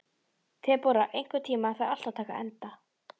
Debóra, einhvern tímann þarf allt að taka enda.